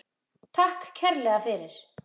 Takk kærlega fyrir.